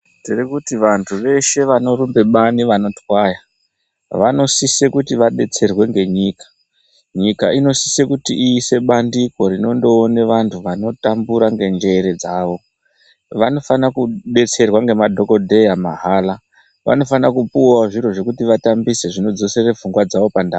Tiri kuti vantu veshe vanorumbe bani vanotwaya, vanosise kuti vadetserwe ngenyika. Nyika inosise kuti iise bandiko rinondoona vantu vanotambura ngenjere dzawo. Vanofana kudetserwa ngemadhokodheya mahala. Vanofana kupuwawo zviro zvekuti vatambise zvinodzosere pfungwa dzawo pandau.